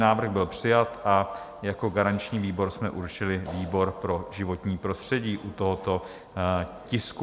Návrh byl přijat a jako garanční výbor jsme určili výbor pro životní prostředí u tohoto tisku.